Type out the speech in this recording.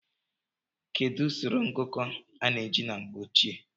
kedu usoro ngụkọ a na-eji na mgbe ochie?